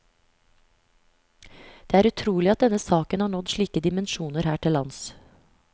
Det er utrolig at denne saken har nådd slike dimensjoner her til lands.